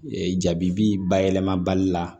Ee jabi bi bayɛlɛmabali la